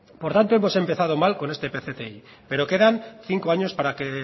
por tanto hemos empezado mal con este pcti pero quedan cinco años para que